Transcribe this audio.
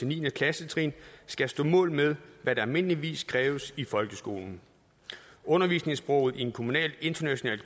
ni klassetrin skal stå mål med hvad der almindeligvis kræves i folkeskolen undervisningssproget i en kommunal international